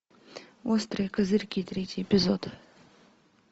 острые козырьки третий эпизод